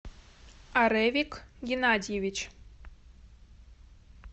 аревик геннадьевич